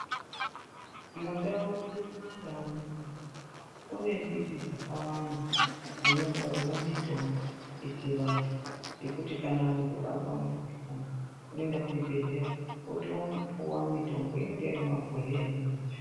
Mundau mwedu m kumaNdau munomu kunembiti dzakawanda dzinonasira mitombo yechivantu, yekuti muntu azwa mukuhlani opiwa mitombo inenge iri mumabhodhleya imweni yacho.